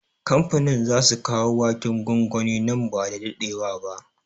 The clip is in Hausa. Kamfanin zasu kawo waken gwangwani nan ba da daɗewa ba